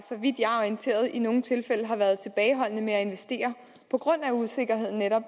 orienteret i nogle tilfælde har været tilbageholdende med at investere på grund af usikkerhed